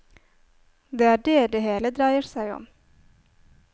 Det er det det hele dreier seg om.